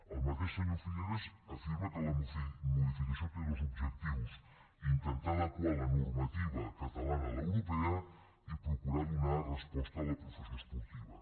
el mateix senyor figueras afirma que la modificació té dos objectius intentar adequar la normativa catalana a l’europea i procurar donar resposta a la professió esportiva